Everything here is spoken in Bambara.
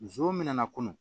Muso min mɛna kunun